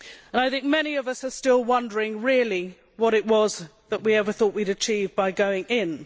I think many of us are still wondering, really, what it was that we ever thought we would achieve by going in.